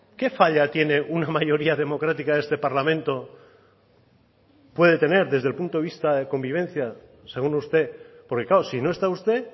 qué falla tiene una mayoría democrática de este parlamento puede tener desde el punto de vista de convivencia según usted porque claro si no está usted